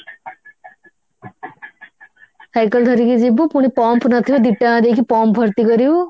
cycle ଧରିକି ଯିବୁ ପୁଣି pump ନଥିବ ଦି ଟଙ୍କା ଦେଇକି pump ଭର୍ତି କରିବୁ